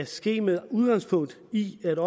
sker med udgangspunkt i det at